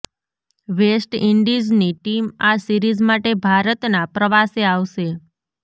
waste ઇન્ડીઝની team આ series માટે ભારતના પ્રવાસે આવશે